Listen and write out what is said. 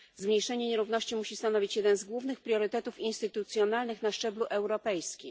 Zmniejszenie nierówności musi stanowić jeden z głównych priorytetów instytucjonalnych na szczeblu europejskim.